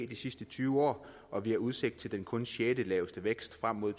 de sidste tyve år og vi har udsigt til den kun sjettelaveste vækst frem mod